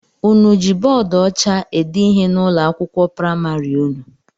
Ụnụ jị bọọdu ọcha ede ihe n'ụlọ akwụkwọ praịmarị ụnụ?